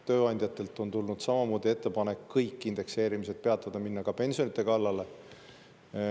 Tööandjatelt on tulnud samamoodi ettepanek kõik indekseerimised peatada, minna ka pensionide kallale.